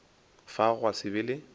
fao gwa se be le